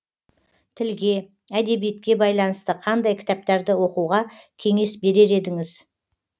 тілге әдебиетке байланысты қандай кітаптарды оқуға кеңес берер едіңіз